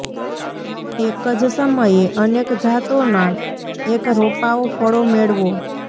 એક જ સમયે અનેક જાતોના એક રોપાઓ ફળો મેળવો